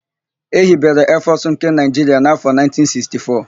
Ehibere Eefọsụ nke Naịjiria n'afọ 1964.